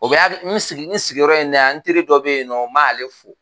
O bɛɛ ya kɛ n sigiyɔrɔ in na yan n teri dɔ be yen, n b'ale fo.